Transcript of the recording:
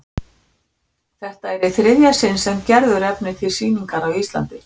Þetta er í þriðja sinn sem Gerður efnir til sýningar á Íslandi.